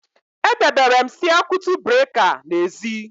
E debere m siakwutu breka n'ezi